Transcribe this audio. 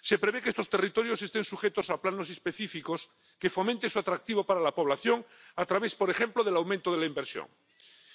Se prevé que estos territorios estén sujetos a planes específicos que fomenten su atractivo para la población, a través, por ejemplo, del aumento de la inversión.